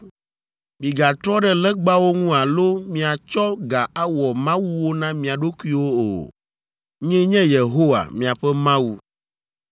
“ ‘Migatrɔ ɖe legbawo ŋu alo miatsɔ ga awɔ mawuwo na mia ɖokuiwo o. Nyee nye Yehowa, miaƒe Mawu.